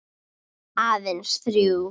Aðeins þrjú.